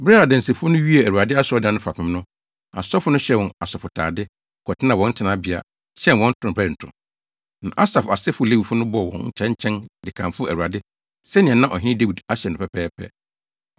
Bere a adansifo no wiee Awurade asɔredan no fapem no, asɔfo no hyɛɛ wɔn asɔfotade, kɔtenaa wɔn tenabea, hyɛn wɔn ntorobɛnto. Na Asaf asefo Lewifo no bɔɔ wɔn kyɛnkyɛn, de kamfoo Awurade sɛnea na ɔhene Dawid ahyɛ no pɛpɛɛpɛ.